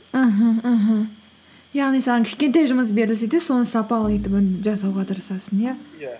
аха аха яғни саған кішкентай жұмыс берілсе де соны сапалы етіп оны жасауға тырысасың иә иә